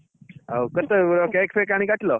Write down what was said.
ଆଉ କେତେବେଳେ cake fake ଆଣି କାଟିଲ?